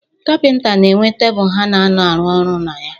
Kapịnta na-enwe tebụl ha na-anọ arụ ọrụ na ya